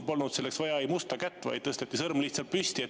Polnud selleks vaja musta kätt, vaid tõsteti sõrm lihtsalt püsti.